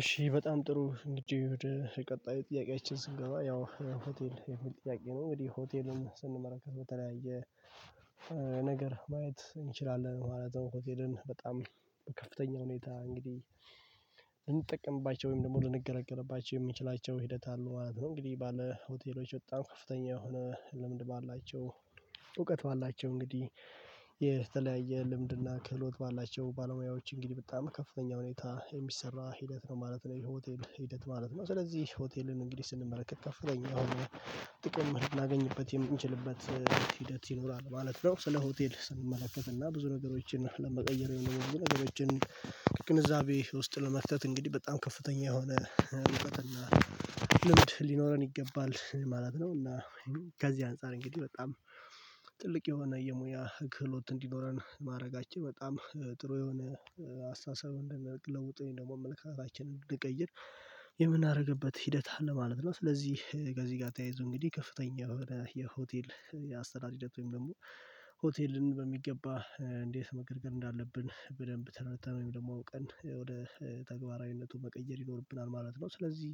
እሺ በጣም ጥሩ እንግዲህ ወደ ቀጣዩ ጥያቄያችን ስንገባ ያው ሆቴል የሚል ጥያቄ ነው እንዴ? ሆቴልን ስንመለከት በተለያየ ነገር ማየት እንችላለን ማለት ነው። ሆቴልን በጣም በከፍተኛ ሁኔታ እንግዲህ ልንጠቅምባቸው ወይም ደግሞ ልንገለገልባቸው የምንችላቸው ሂደት አለው ማለት ነው። እንግዲህ ባለ ሆቴሎች በጣም ከፍተኛ የሆነ ልምድ ባላቸው እውቀት ባላቸው እንግዲህ የተለያየ ልምድና ክህሎት ባላቸው ባለሙያዎች እንግዲህ በጣም ከፍተኛ ሁኔታ የሚሰራ ሂደት ነው ማለት ነው የሆቴል ሂደት ማለት ነው። ስለዚህ ሆቴልን እንግዲህ ስንመለከት ከፍተኛ የሆነ ጥቅም ልናገኝበት የምንችልበት ሂደት ይኖራል ማለት ነው። ስለ ሆቴል ስንመለከት እና ብዙ ነገሮችን ለመቀየር የሚሆኑ ነገሮችን ቅንዛቤ ውስጥ ለመክተት እንግዲህ በጣም ከፍተኛ የሆነ እውቀትና ልምድ ሊኖረን ይገባል ማለት ነው። እና ከዚህ አንፃር እንግዲህ በጣም ጥልቅ የሆነ የሙያ ክህሎት እንዲኖረን ማድረጋችን በጣም ጥሩ የሆነ አስተሳሰብ እንደነቅ ለውጥ ደግሞ አመልከታችንን ልቀይር የምናደርግበት ሂደት አለ ማለት ነው። ስለዚህ ከዚህ ጋር ተያይዞ እንግዲህ ከፍተኛ የሆነ የሆቴል አስተዳደር ወይም ደግሞ ሆቴልን በሚገባ እንዴት መገርገር እንዳለብን በደንብ ተረድተን ወይም ደግሞ ቀን ወደ ተግባራዊነቱ መቀየር ይኖርብናል ማለት ነው። ስለዚህ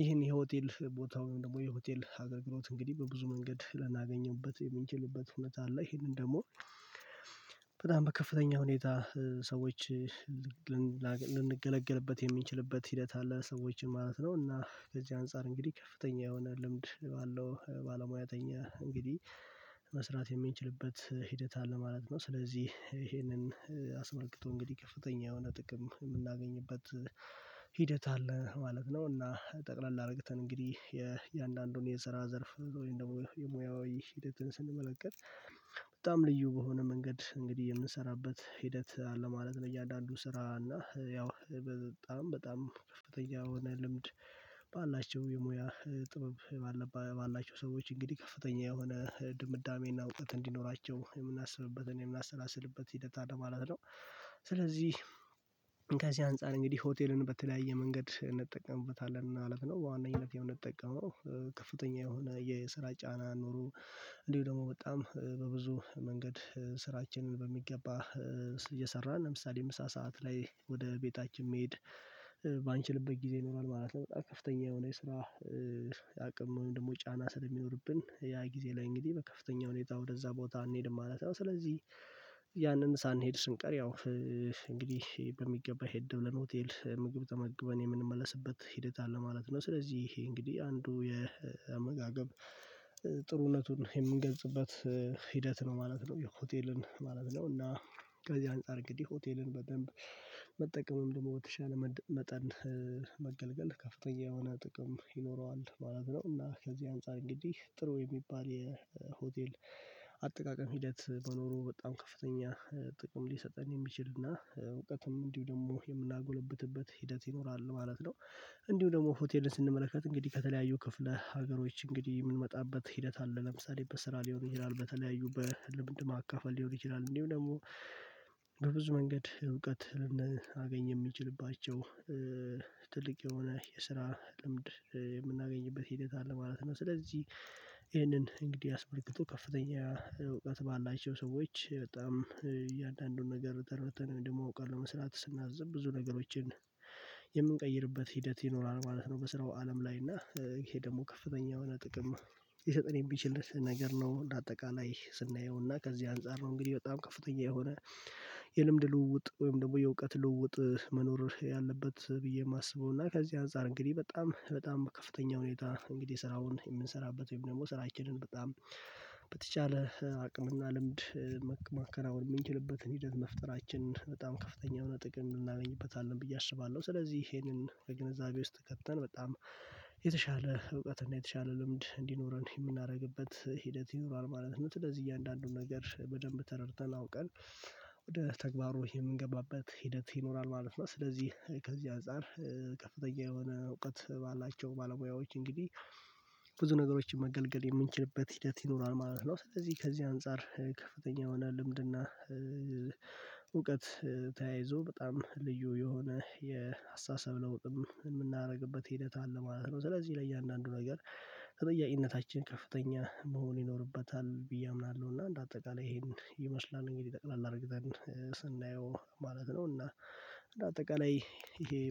ይሄን የሆቴል ቦታውን ደግሞ የሆቴል አገልግሎት እንግዲህ በብዙ መንገድ ለናገኝበት የምንችልበት እውነት አለ ይሄንን ደግሞ በጣም በከፍተኛ ሁኔታ ሰዎች ላገኝ ልንገለገልበት የምንችልበት ሂደት አለ ሰዎችን ማለት ነው። እና ከዚህ አንፃር እንግዲህ ከፍተኛ የሆነ ልምድ ባለው ባለሙያተኛ እንግዲህ መስራት የሚችልበት ሂደት አለ ማለት ነው። ስለዚህ ይሄንን አስመልክቶ እንግዲህ ከፍተኛ የሆነ ጥቅም የምናገኝበት ሂደት አለ ማለት ነው። እና ጠቅለል አርግተን እንግዲህ የእያንዳንዱን የስራ ዘርፍ ወይም ደግሞ የሙያዊ ሂደትን ስንመለከት በጣም ልዩ በሆነ መንገድ እንግዲህ የምንሰራበት ሂደት አለ ማለት ነው። እያንዳንዱ ስራ እና ያው በጣም በጣም የሆነ ልምድ ባላቸው የሙያ ጥበብ ባላቸው ሰዎች እንግዲህ ከፍተኛ የሆነ ድምዳሜና እውቀት እንዲኖራቸው የምናስብበትን የምናሰላስልበት ሂደት አለ ማለት ነው። ስለዚህ ከዚህ አንፃር እንግዲህ ሆቴልን በተለያየ መንገድ እንጠቀምበታለን አለፍ ነው በዋነኝነት የምንጠቀመው ከፍተኛ የሆነ የስራ ጫና ኖሮ እንዲሁ ደግሞ በጣም በብዙ መንገድ ስራችንን በሚገባ እየሰራን ለምሳሌ ምሳ ሰዓት ላይ ወደ ቤታችን መሄድ ባንችልበት ጊዜ ይኖራል ማለት ነው። በጣም ከፍተኛ የሆነ የስራ አቅም ወይም ደግሞ ጫና ስለሚኖርብን ያ ጊዜ ላይ እንግዲህ በከፍተኛ ሁኔታ ወደዛ ቦታ አንሄድም ማለት ነው። ስለዚህ ያንን ሳንሄድ ስንቀር ያው እንግዲህ በሚገባ ሄደን ለሆቴል ምግብ ተመግበን የምንመለስበት ሂደት አለ ማለት ነው። ስለዚህ ይሄ እንግዲህ አንዱ የአመጋገብ ጥሩነቱን የምንገልጽበት ሂደት ነው ማለት ነው። የሆቴልን ማለት ነው እና ከዚህ አንፃር እንግዲህ ሆቴልን በደንብ መጠቀምም ደግሞ በተሻለ መጠን መገልገል ከፍተኛ የሆነ ጥቅም ይኖረዋል። በኋላ ብለው እና ከዚህ አንፃር እንግዲህ ጥሩ የሚባል የሆቴል አጠቃቀም ሂደት በኖሩ በጣም ከፍተኛ ጥቅም ሊሰጠን የሚችል እና እውቀትም እንዲሁ ደግሞ የምናጎለብትበት ሂደት ይኖራል ማለት ነው። እንዲሁ ደግሞ ሆቴልን ስንመለከት እንግዲህ ከተለያዩ ክፍለ ሀገሮች እንግዲህ የምንመጣበት ሂደት አለ ለምሳሌ በስራ ሊሆን ይችላል በተለያዩ በልምድ ማካፈል ሊሆን ይችላል እንዲሁ ደግሞ በብዙ መንገድ እውቀት ልናገኝ የሚችልባቸው ትልቅ የሆነ የስራ ልምድ የምናገኝበት ሂደት አለ ማለት ነው። ስለዚህ ይህንን እንግዲህ አስመልክቶ ከፍተኛ እውቀት ባላቸው ሰዎች በጣም እያንዳንዱን ነገር ተረድተን ደግሞ እውቀት መስራት ስናዝብ ብዙ ነገሮችን የምንቀይርበት ሂደት ይኖራል ማለት ነው። በስራው አለም ላይ እና ይሄ ደግሞ ከፍተኛ የሆነ ጥቅም ሊሰጠን ቢችልስ ነገር ነው። ለአጠቃላይ ስናየው እና ከዚህ አንፃር ነው እንግዲህ በጣም ከፍተኛ የሆነ የልምድ ልውውጥ ወይም ደግሞ የእውቀት ልውውጥ መኖር ያለበት ብዬ የማስበው እና ከዚህ አንፃር እንግዲህ በጣም በጣም ከፍተኛ ሁኔታ እንግዲህ ስራውን የምንሰራበት ወይም ደግሞ ስራችንን በጣም በተቻለ አቅምና ልምድ መከናወን የምንችልበትን ሂደት መፍጠራችን በጣም ከፍተኛ የሆነ ጥቅም እናገኝበታለን ብዬ አስባለሁ። ስለዚህ ይሄንን ከግንዛቤ ውስጥ ከተን በጣም የተሻለ እውቀት እና የተሻለ ልምድ እንዲኖረን የምናደርግበት ሂደት ይኖራል ማለት ነው። ስለዚህ እያንዳንዱን ነገር በደንብ ተረድተን አውቀን ወደ ተግባሩ የምንገባበት ሂደት ይኖራል ማለት ነው። ስለዚህ ከዚህ አንፃር ከፍተኛ የሆነ እውቀት ባላቸው ባለሙያዎች እንግዲህ ብዙ ነገሮችን መገልገል የምንችልበት ሂደት ይኖራል ማለት ነው። ስለዚህ ከዚህ አንፃር ከፍተኛ የሆነ ልምድና እውቀት ተያይዞ በጣም ልዩ የሆነ የአስተሳሰብ ለውጥም የምናደርግበት ሂደት አለ ማለት ነው። ስለዚህ ለእያንዳንዱ ነገር ተጠያቂነታችን ከፍተኛ መሆን ይኖርበታል ብዬ አምናለሁ። እና እንደ አጠቃላይ ይሄን ይመስላል እንግዲህ ጠቅላላ አድርግተን ስናየው ማለት ነው። እና አጠቃላይ ይሄ